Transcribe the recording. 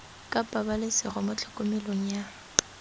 ka pabalesego mo tlhokomelong ya